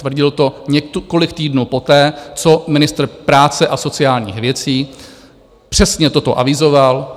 Tvrdil to několik týdnů poté, co ministr práce a sociálních věcí přesně toto avizoval.